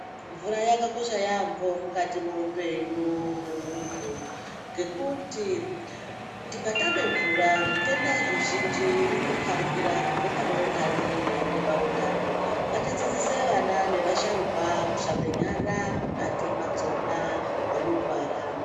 Mvura yakakosha yaambo mukati mwoupenyu hwemuntu. Ngekuti tikatame mvura zvitenda zvizhinji zvinoparikira kubve pane undani zveiende paundani. Ngatidzidzise ana nevasharuka kushambe nyara mukati madzona nemundwara.